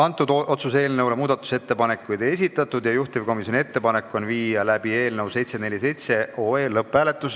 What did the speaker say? Eelnõu kohta muudatusettepanekuid ei esitatud ja juhtivkomisjoni ettepanek on viia läbi eelnõu 747 lõpphääletus.